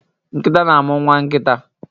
Nkita na amu Nwa nkita